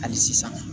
Hali sisan